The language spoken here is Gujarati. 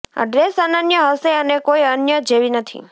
આ ડ્રેસ અનન્ય હશે અને કોઈ અન્ય જેવી નથી